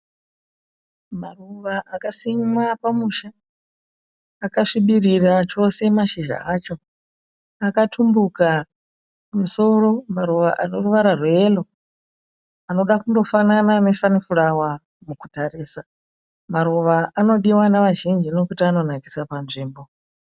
Maruva akasimwa pamusha akasvibirira chose mashizha acho akatumbuka kumusoro maruva ane ruvara rweyero anoda kundofanana nesani furawa mukutarisa, maruva anodiwa nevazhinji nekuti anonakisa panzvimbo.